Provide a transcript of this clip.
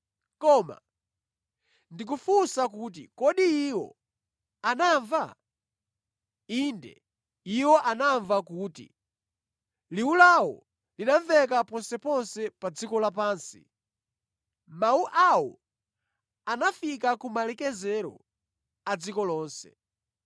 Koma ndikufunsa kuti kodi iwo anamva? Inde, iwo anamva kuti, “Liwu lawo linamveka ponseponse pa dziko lapansi. Mawu awo anafika ku malekezero a dziko lonse.”